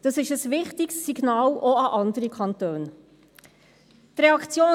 Das ist ein wichtiges Signal, auch an andere Kantone.